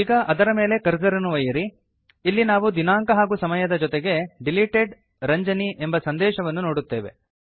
ಈಗ ಅದರ ಮೇಲೆ ಕರ್ಸರ್ ಅನ್ನು ಒಯ್ಯಿರಿ ಇಲ್ಲಿ ನಾವು ದಿನಾಂಕ ಹಾಗೂ ಸಮಯದ ಜೊತೆಗೆ ಡಿಲಿಟೆಡ್ Ranjani ಎಂಬ ಸಂದೇಶವನ್ನು ನೋಡುತ್ತೇವೆ